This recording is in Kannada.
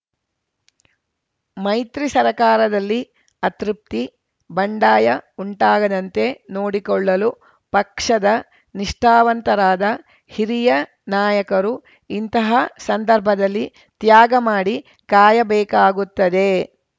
ಮೈತ್ರಿ ಸರ್ಕಾರದಲ್ಲಿ ಅತೃಪ್ತಿ ಬಂಡಾಯ ಉಂಟಾಗದಂತೆ ನೋಡಿಕೊಳ್ಳಲು ಪಕ್ಷದ ನಿಷ್ಠಾವಂತರಾದ ಹಿರಿಯ ನಾಯಕರು ಇಂತಹ ಸಂದರ್ಭದಲ್ಲಿ ತ್ಯಾಗ ಮಾಡಿ ಕಾಯಬೇಕಾಗುತ್ತದೆ